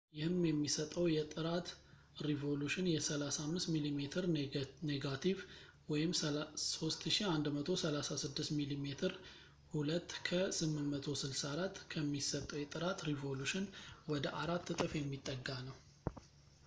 ይህም የሚሰጠው የጥራት ሪዞሉሽን የ35 ሚሜ ኔጋቲቭ 3136ሚሜ2 ከ864 ከሚሰጠው የጥራት ሪዞሉሽን ወደ አራት እጥፍ የሚጠጋ ነው